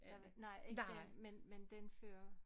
Der var nej ikke den men den før